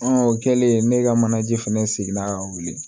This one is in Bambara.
o kɛlen ne ka manaje fɛnɛ seginna ka wuli